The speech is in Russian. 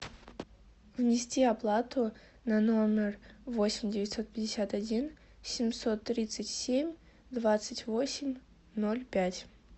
внести оплату на номер восемь девятьсот пятьдесят один семьсот тридцать семь двадцать восемь ноль пять